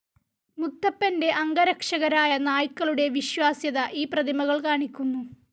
മുത്തപ്പൻ്റെ അംഗരക്ഷകരായ നായ്ക്കളുടെ വിശ്വാസ്യത ഈ പ്രതിമകൾ കാണിക്കുന്നു.